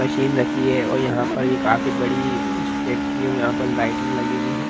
Machine रखी है और यहाँ पर ये काफी बड़ी इस फेक्टरी और यहाँ पर लाइटिंग लगी हुई है।